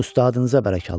Ustadınıza bərəkallah.